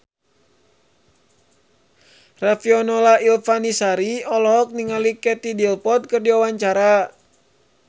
Riafinola Ifani Sari olohok ningali Katie Dippold keur diwawancara